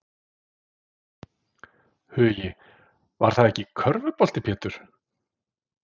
Hugi: Var það ekki körfubolti Pétur?